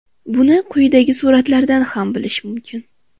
Buni quyidagi suratlardan ham bilish mumkin.